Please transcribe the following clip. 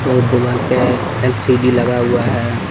और दीवाल पे एल_सी_डी लगा हुआ है।